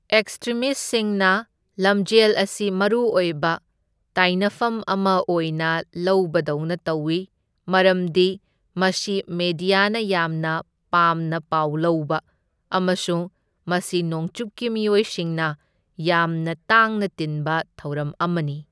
ꯑꯦꯛꯁꯇ꯭ꯔꯤꯃꯤꯁꯠꯁꯤꯡꯅ ꯂꯝꯖꯦꯜ ꯑꯁꯤ ꯃꯔꯨꯑꯣꯢꯕ ꯇꯥꯢꯅꯐꯝ ꯑꯃ ꯑꯣꯏꯅ ꯂꯧꯕꯗꯧꯅ ꯇꯧꯢ, ꯃꯔꯝꯗꯤ ꯃꯁꯤ ꯃꯦꯗꯤꯌꯥꯅ ꯌꯥꯝꯅ ꯄꯥꯝꯅ ꯄꯥꯎ ꯂꯧꯕ, ꯑꯃꯁꯨꯡ ꯃꯁꯤ ꯅꯣꯡꯆꯨꯞꯀꯤ ꯃꯤꯑꯣꯢꯁꯤꯡꯅ ꯌꯥꯝꯅ ꯇꯥꯡꯅ ꯇꯤꯟꯕ ꯊꯧꯔꯝ ꯑꯃꯅꯤ꯫